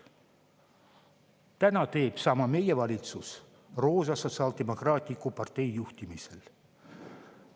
Täna teeb sama meie valitsus roosa sotsiaaldemokraatliku partei juhtimisel.